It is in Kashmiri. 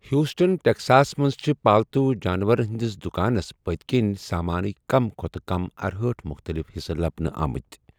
ہیوسٹن، ٹیکساسس منٛز چھِ پالتو جانورن ہنٛدس دُکانس پٔتکٕنۍ سامانٕک کم کھۄتہٕ کم ارہأٹھ مُختٔلِف حِصہٕ لبنہِ آمٕتۍ۔